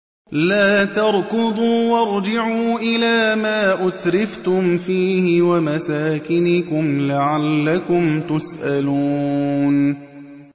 لَا تَرْكُضُوا وَارْجِعُوا إِلَىٰ مَا أُتْرِفْتُمْ فِيهِ وَمَسَاكِنِكُمْ لَعَلَّكُمْ تُسْأَلُونَ